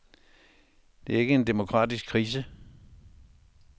Det er ikke en demokratisk krise.